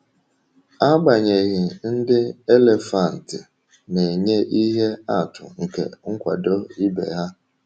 Agbanyeghị, ndị elefanti na-enye ihe atụ nke nkwado ibe ha.